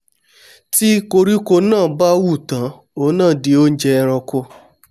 tí koríko náà bá hù tán òun náà di oúnjẹ eranko